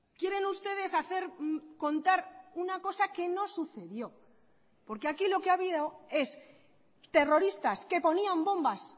quieren ustedes hacer contar una cosa que no sucedió porque aquí lo que ha habido es terroristas que ponían bombas